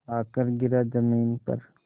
आकर गिरा ज़मीन पर